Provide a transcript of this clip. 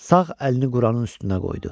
Sağ əlini Quranın üstünə qoydu.